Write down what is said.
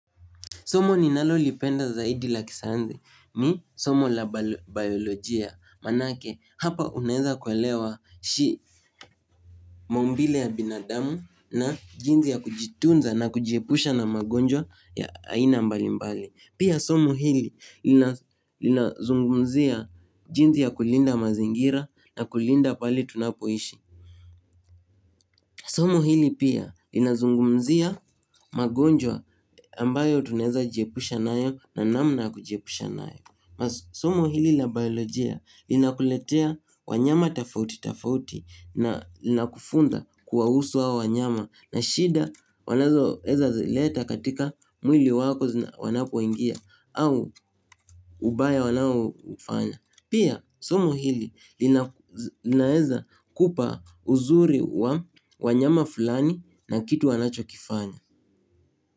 Somo ni nalolipenda zaidi la kisayansi, mi somo la biolojia, maanake hapa unaeza kuelewa maumbile ya binadamu na jinsi ya kujitunza na kujiepusha na magonjwa ya aina mbali mbali. Pia somo hili linazungumzia jinsi ya kulinda mazingira na kulinda pahali tunapoishi. Somo hili pia linazungumzia magonjwa ambayo tunaeza jiepusha nayo na namna kujiepusha nayo. Somo hili la biolojia linakuletea wanyama tofauti tofauti na lina kufunza kuwahusu hao wanyama na shida wanazoeza zileta katika mwili wako wanapoingia au ubaya wanaoufanya. Pia somo hili linaeza kupa uzuri wa wanyama fulani na kitu wanacho kifanya.